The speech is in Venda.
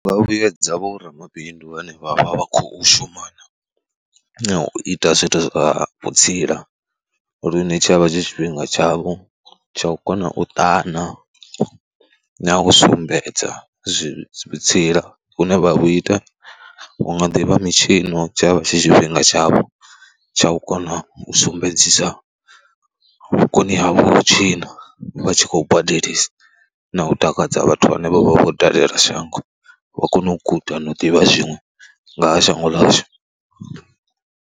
Nga vhuedza vho ramabindu vhane vha vha vha khou shumana na u ita zwithu zwa vhutsila lune tsha vha tshi tshifhinga tshavho tsha u kona u ṱana na u sumbedza vhutsila vhune vha vhu ita. Vhu nga ḓi vha mitshino, tshi ya vha tshi tshifhinga tshavho tsha u kona u sumbedzisa vhukoni havho ha u tshina. Vha tshi khou badelisa na u takadza vhathu vhane vho vha vho dalela shango wa kona u guda na u ḓivha zwiṅwe nga hs shango ḽashu.